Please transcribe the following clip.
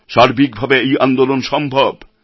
সার্বিকভাবে এই আন্দোলন সম্ভব